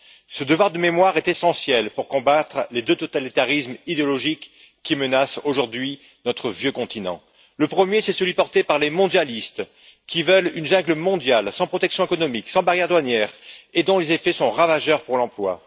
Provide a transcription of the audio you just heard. Ce devoir de mémoire est essentiel pour combattre les deux totalitarismes idéologiques qui menacent aujourd'hui notre vieux continent. Le premier, c'est celui porté par les mondialistes qui veulent une jungle mondiale sans protection économique, sans barrières douanières, dont les effets sont ravageurs pour l'emploi.